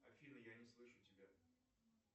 афина я не слышу тебя